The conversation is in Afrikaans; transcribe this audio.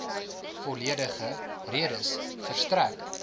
volledige redes verstrek